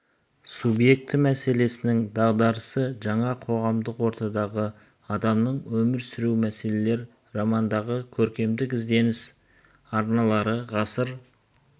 субъекті мәселесінің дағдарысы жаңа қоғамдық ортадағы адамның өмір сүруі мәселелер романдағы көркемдік ізденіс арналары ғасыр